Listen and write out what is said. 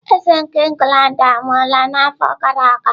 Eze nke England anwụọla n'afọ gara aga?